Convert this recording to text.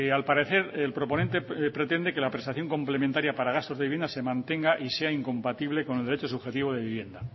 al parecer el proponente pretende que la prestación complementaria para gastos de vivienda se mantenga y sea incompatible con el derecho subjetivo de vivienda